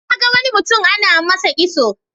Na ga wani mutum ana yi masa kitso.